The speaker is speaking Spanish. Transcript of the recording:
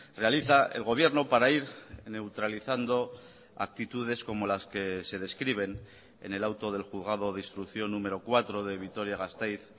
realiza el gobierno para ir neutralizando actitudes como las que se describen en el auto del juzgado de instrucción número cuatro de vitoria gasteiz